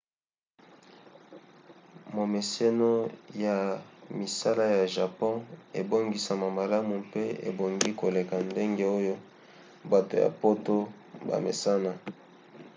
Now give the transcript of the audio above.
momeseno ya misala ya japon ebongisama malamu mpe ebongi koleka ndenge oyo bato ya poto bamesana